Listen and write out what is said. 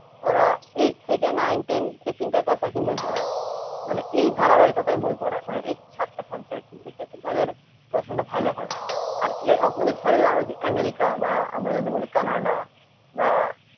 ওরা eight থেকে nine ten এই তিনটা class এক ই বই পড়ায় মানে এই ধারাবাহিকতায় বই পড়ায় মানে এই সাতটা subject এই ক্ষেত্রে তাদের পড়াশোনা ভালো হয় আর opposite side এরা আমেরিকা বা আমরা যদি বলি কানাডা বা,